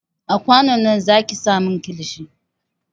A kwanon nan zaki sa min kilishin!